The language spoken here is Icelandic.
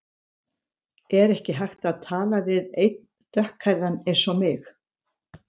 Er ekki hægt að tala við einn dökkhærðan eins og mig?